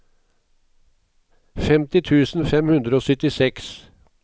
femti tusen fem hundre og syttiseks